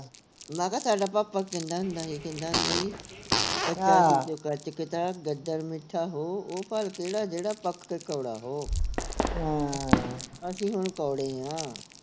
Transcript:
ਮੈਂ ਕਿਹਾ ਸਾਡਾ ਪਾਪਾ ਕਹਿੰਦਾ ਹੁੰਦਾ ਸੀ ਕਹਿੰਦਾ ਹੁੰਦਾ ਸੀ ਗੱਦੜ ਹੋ ਉਹ ਉਹ ਫਲ ਕਿਹੜਾ ਜਿਹੜਾ ਪੱਕ ਕੇ ਕੌੜਾ ਹੋ ਅਸੀਂ ਹੁਣ ਕੌੜੇ ਆਂ